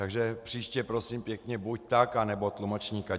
Takže příště, prosím pěkně, buď tak, anebo tlumočníka.